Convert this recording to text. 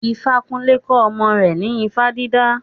Ifakunle kọ́ ọmọ rẹ̀ ní ifá dídá.